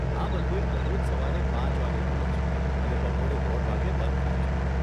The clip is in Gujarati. આ મંદિર દરરોજ સવારે પાંચ વાગ્યે ખુલે છે અને બપોરે દોઢ વાગ્યે બંધ થાય છે.